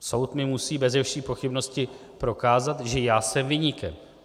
Soud mi musí beze vší pochybnosti prokázat, že já jsem viníkem.